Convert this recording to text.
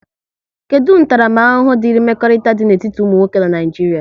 Kedụ ntaramahụhụ diri mmekọrịta dị n'etiti ụmụ nwoke n'Naijiria?